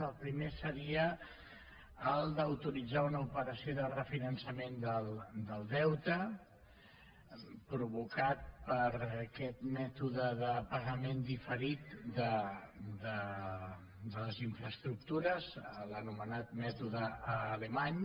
el primer seria el d’autoritzar una operació de refinançament del deute provocat per aquest mètode de pagament diferit de les infraestructures l’anomenat mètode alemany